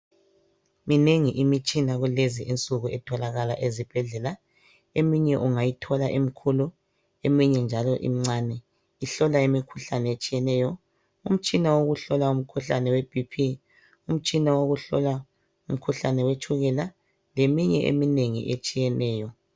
Minengi imitshina kulezi insuku etholakala ezibhedlela. Eminye unngayithola imikhulu eminye imincane, ihlola imikhuhlane etshiyeneyo. Umtshina wokuhlola umkhuhlane wetshukela, umtshina wokuhlola umkhuhlane weBP. Leminye nje eminengi etshiyeneyo.